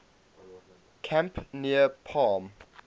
camp near palm